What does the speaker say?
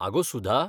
आगो, सुधा!